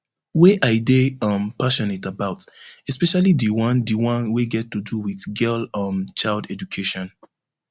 wey i dey um passionate about especially di one di one wey get to do wit girl um child education